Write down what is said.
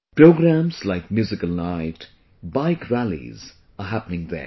Programs like Musical Night, Bike Rallies are happening there